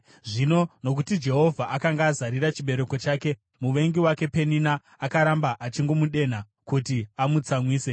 Zvino nokuti Jehovha akanga azarira chibereko chake, muvengi wake Penina akaramba achingomudenha kuti amutsamwise.